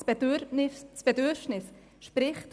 Das Bedürfnis steigt in der Realität stetig.